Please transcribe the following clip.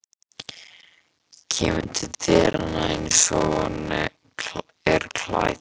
Kemur til dyranna einsog hún er klædd.